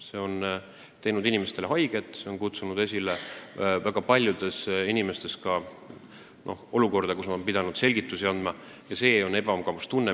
See on teinud inimestele haiget, see on kutsunud esile ka olukorra, kus ma olen pidanud väga paljudele inimestele selgitusi andma.